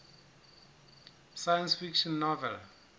science fiction novel